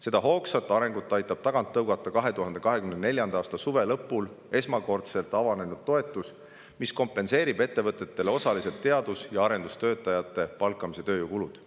Seda hoogsat arengut aitab tagant tõugata 2024. aasta suve lõpul esmakordselt avanenud toetus, mis kompenseerib ettevõtetele osaliselt teadus- ja arendustöötajate palkamise tööjõukulud.